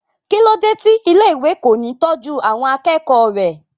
kí ló dé tí ilé ìwé kò ní tọ́jú àwọn akẹ́kọ̀ọ́ rẹ̀?